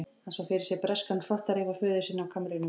Hann sá fyrir sér breskan hrotta rífa föður sinn af kamrinum.